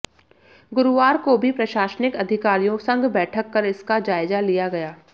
गुरुवार को भी प्रशासनिक अधिकारियों संग बैठक कर इसका जायजा लिया गया